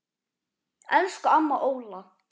Elsku amma Óla.